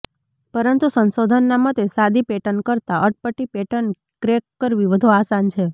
પરંતુ સંશોધનના મતે સાદી પેટર્ન કરતા અટપટી પેટર્ન ક્રેક કરવી વધુ આસાન છે